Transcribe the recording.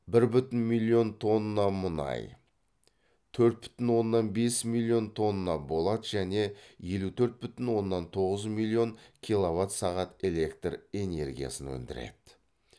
бір бүтін миллион тонна мұнай төрт бүтін оннан бес миллион тонна болат және елу төрт бүтін оннан тоғыз миллион киловат сағат электр энергиясын өндіреді